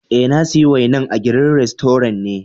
Eh, na siya wainan a green restaurant ne.